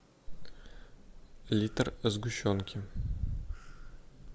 литр сгущенки